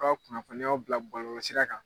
Ɔ kunnafoniyaw bila bɔlɔlɔsira kan